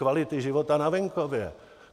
Kvality života na venkově.